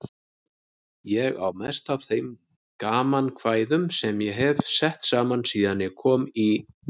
Ég á mest af þeim gamankvæðum sem ég hef sett saman síðan ég kom í